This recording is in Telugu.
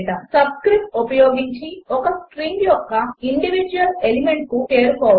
10 సబ్స్క్రిప్ట్స్ ఉపయోగించి ఒక స్ట్రింగ్ యొక్క ఇండివీడ్యువల్ ఎలిమెంట్స్కు చేరుకోవడము